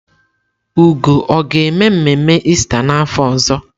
Ugo ọ ga-eme mmemme Ista n'afọ ọzọ?